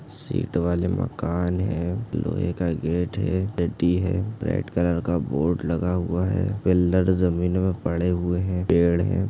Sheet वाले मकान है लोहे का गेट है डडी है रेड कलर का बोर्ड लगा हुआ है पिल्लर जमीन मे पड़े हुए है पेड़ है।